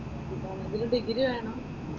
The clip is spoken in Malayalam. ഇതാണെങ്കിലും ഡിഗ്രി വേണം.